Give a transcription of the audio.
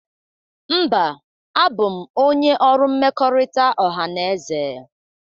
Mba, abụ m onye ọrụ mmekọrịta ọhaneze.